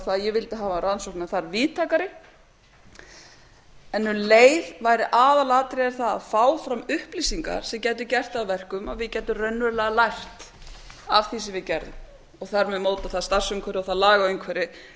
að ég vildi hafa rannsóknina þar víðtækari en um leið væri aðalatriðið það að fá fram upplýsingar sem gætu gert það að verkum að við gætum raunverulega lært af því sem við gerðum og þar með mótað það starfsumhverfi og það lagaumhverfi